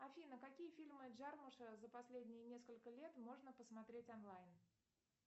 афина какие фильмы джармоша за последние несколько лет можно посмотреть онлайн